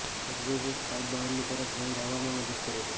exhaust pipe બહારની તરફ vent હવામાં મદદ કરે છે